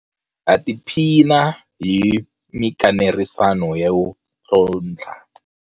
Ha tiphina hi mikanerisano yo ntlhontlha.